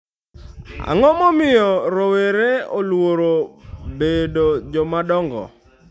Ang'o momiyo rowere oluoro bedo joma dongo